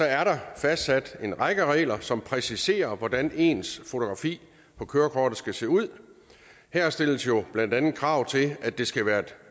er der fastsat en række regler som præciserer hvordan ens fotografi på kørekortet skal se ud her stilles jo blandt andet krav til at det skal være et